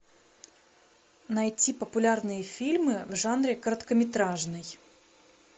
найти популярные фильмы в жанре короткометражный